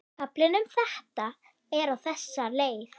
Kaflinn um þetta er á þessa leið: